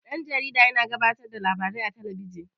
Dan-jarida yana gabatar da labarai a talabijin.